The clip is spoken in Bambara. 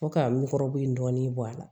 Fo ka n kɔrɔbɛn dɔɔnin bɔ a la